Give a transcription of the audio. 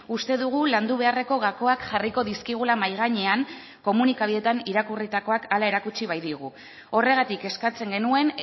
uste dugu landu beharreko gakoak jarriko dizkigula mahai gainean komunikabideetan irakurritakoak hala erakutsi baitigu horregatik eskatzen genuen